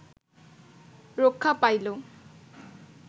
রক্ষা পাইল